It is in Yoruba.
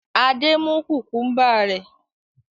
Adé mú kùkúḿbà rẹ̀.